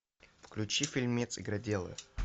включи фильмец игроделы